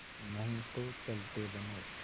नहीं तो चलते बनो